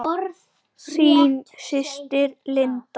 Þín systir, Linda.